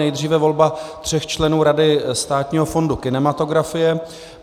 Nejdříve volba tří členů Rady Státního fondu kinematografie.